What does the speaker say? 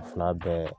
Fila bɛɛ